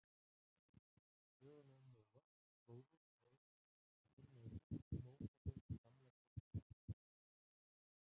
Söguna um Nóa, flóðið og örkina er að finna í fyrstu Mósebók Gamla testamentisins.